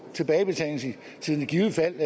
tilbagebetalingstiden i givet fald